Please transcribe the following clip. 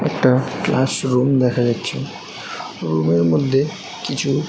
একটা ক্লাসরুম দেখা যাচ্ছে রুম এর মধ্যে কিছু --